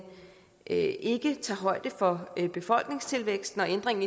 ikke ikke tager højde for befolkningstilvæksten og ændringen